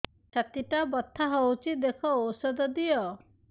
ଛାତି ଟା ବଥା ହଉଚି ଦେଖ ଔଷଧ ଦିଅ